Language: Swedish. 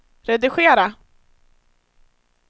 redigera